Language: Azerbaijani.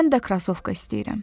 Mən də krasovka istəyirəm.